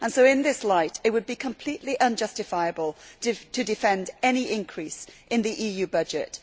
In this light, therefore, it would be completely unjustifiable to defend any increase in the EU budget.